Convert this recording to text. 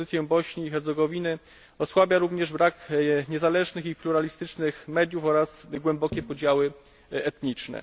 Pozycję Bośni i Hercegowiny osłabia również brak niezależnych i pluralistycznych mediów oraz głębokie podziały etniczne.